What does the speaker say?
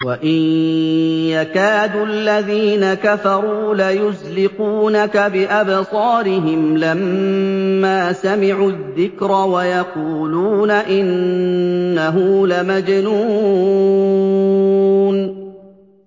وَإِن يَكَادُ الَّذِينَ كَفَرُوا لَيُزْلِقُونَكَ بِأَبْصَارِهِمْ لَمَّا سَمِعُوا الذِّكْرَ وَيَقُولُونَ إِنَّهُ لَمَجْنُونٌ